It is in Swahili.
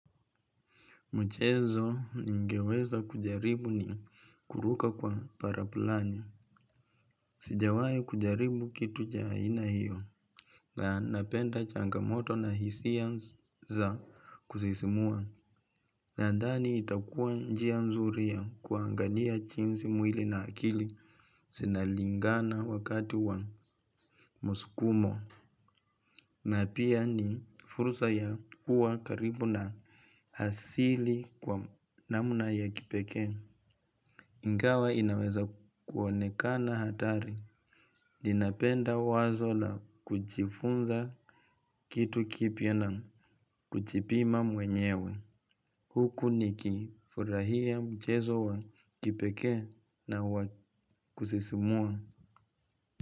Mchezo ningeweza kujaribu ni kuruka kwa paraplani. Sijawai kujaribu kitu ja aina hiyo. Na napenda changamoto na hisia za kusisimua. Nadhani itakua njia nzuri ya kuangalia chinsi mwili na akili. Sina lingana wakati wa muskumo. Na pia ni fursa ya kuwa karibu na hasili kwa namna ya kipekee. Ingawa inaweza kuonekana hatari. Ninapenda wazo la kujifunza kitu kipya na kujipima mwenyewe. Huku nikifurahia mchezo wa kipekee na wa kusisimua.